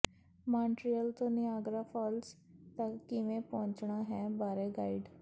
Montreal ਤੋਂ Niagara Falls ਤੱਕ ਕਿਵੇਂ ਪਹੁੰਚਣਾ ਹੈ ਬਾਰੇ ਗਾਈਡ